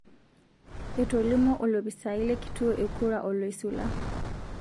Etolimuo olopisai le kituo e kura oloisula